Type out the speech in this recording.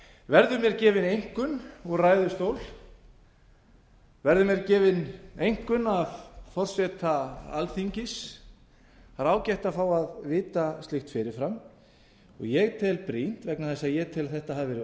verður mér gefin einkunn úr ræðustól verður mér gefin einkunn af forseta alþingis það er ágætt að fá að vita slíkt fyrir fram og ég tel brýnt vegna þess að ég tel að þetta hafi verið